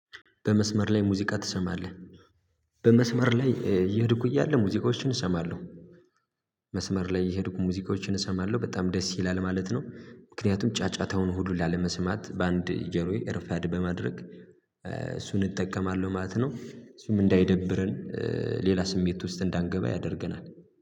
በመስመር ላይ ሙዚቃ ትሰማለህ? በመስመር ላይ እየሄድኩ እያለ ሙዚቃዎችን እሰማለሁ መስመር ላይ እየሄድኩ ሙዚቃዎችን እሰማለሁ በጣም ደስ ይላል ማለት ነው ምክንያቱም ጫጫታውን ሁሉ ላለመስማት በአንድ ጆሮዬ ኤርፓድ በማድረግ እሱን እጠቀማለሁ ማለት ነው እሱም እንዳይደብርን ሌላ ስሜት ውስጥ እንዳንገባ ያደርገናል